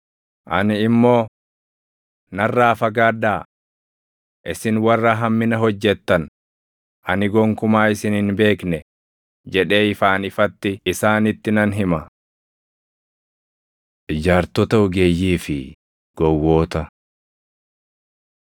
Ani immoo, ‘Narraa fagaadhaa! Isin warra hammina hojjettan, ani gonkumaa isin hin beekne’ jedhee ifaan ifatti isaanitti nan hima. Ijaartota Ogeeyyii fi Gowwoota 7:24‑27 kwf – Luq 6:47‑49